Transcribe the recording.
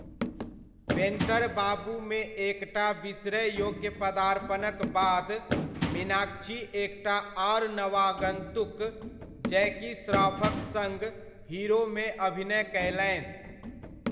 Painter बाबूमे एक टा बिसरय योग्य पदार्पणक बाद, मीनाक्षी एक टा आर नवागन्तुक, जैकी श्रॉफक सङ्ग हीरोमे अभिनय कयलनि।